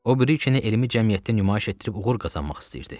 O biri ikini elmi cəmiyyətdə nümayiş etdirib uğur qazanmaq istəyirdi.